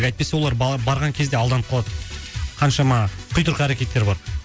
әйтпесе олар барған кезде алданып қалады қаншама құйтұрқы әрекеттер бар